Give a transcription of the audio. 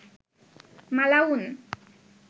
মালাউন